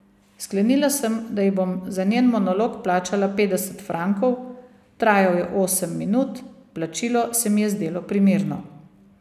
Sklenila sem, da ji bom za njen monolog plačala petdeset frankov, trajal je osem minut, plačilo se mi je zdelo primerno.